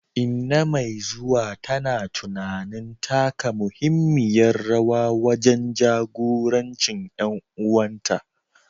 Inna mai zuwa tana tunanin taka muhimmiyar rawa wajen jagorancin ƴan uwanta.